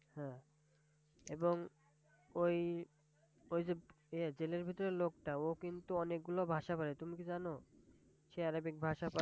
হ্যাঁ! এবং ওই ওই যে এ জেলের ভিতরে লোকটা ও কিন্তু অনেক গুলো ভাষা পারে তুমি কি জানো? সে Arabic ভাষা পারে।